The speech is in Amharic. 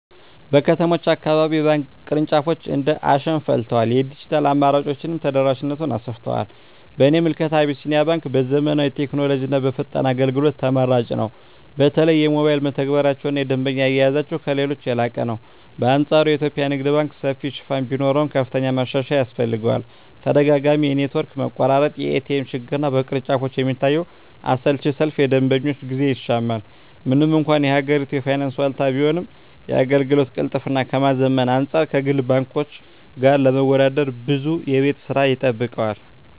በከተሞች አካባቢ የባንክ ቅርንጫፎች እንደ አሸን ፈልተዋል፤ የዲጂታል አማራጮችም ተደራሽነቱን አሰፍተውታል። በእኔ ምልከታ አቢሲኒያ ባንክ በዘመናዊ ቴክኖሎጂና በፈጣን አገልግሎት ተመራጭ ነው። በተለይ የሞባይል መተግበሪያቸውና የደንበኛ አያያዛቸው ከሌሎች የላቀ ነው። በአንፃሩ የኢትዮጵያ ንግድ ባንክ ሰፊ ሽፋን ቢኖረውም፣ ከፍተኛ ማሻሻያ ያስፈልገዋል። ተደጋጋሚ የኔትወርክ መቆራረጥ፣ የኤቲኤም ችግርና በቅርንጫፎች የሚታየው አሰልቺ ሰልፍ የደንበኞችን ጊዜ ይሻማል። ምንም እንኳን የሀገሪቱ የፋይናንስ ዋልታ ቢሆንም፣ የአገልግሎት ቅልጥፍናን ከማዘመን አንፃር ከግል ባንኮች ጋር ለመወዳደር ብዙ የቤት ሥራ ይጠብቀዋል።